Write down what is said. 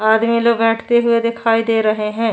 आदमी लोग बैठते हुए दिखाई दे रहे हैं।